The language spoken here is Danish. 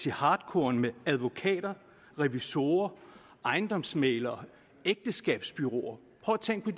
i hartkorn med advokater revisorer ejendomsmæglere og ægteskabsbureauer prøv at tænke